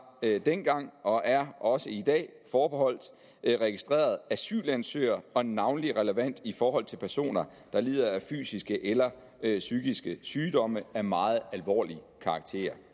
dengang og er også i dag forbeholdt registrerede asylansøgere og er navnlig relevant i forhold til personer der lider af fysiske eller psykiske sygdomme af meget alvorlig karakter